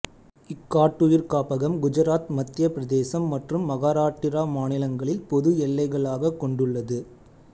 இக்காட்டுயிர் காப்பகம் குஜராத் மத்தியப் பிரதேசம் மற்றும் மகாராட்டிரா மாநிலங்களின் பொது எல்லைகளாகக் கொண்டுள்ளது